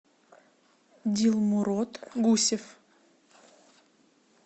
дилмурод гусев